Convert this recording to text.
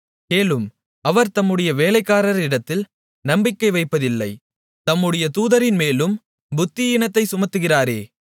கேளும் அவர் தம்முடைய வேலைக்காரரிடத்தில் நம்பிக்கை வைப்பதில்லை தம்முடைய தூதரின்மேலும் புத்தியீனத்தைச் சுமத்துகிறாரே